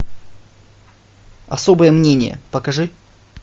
особое мнение покажи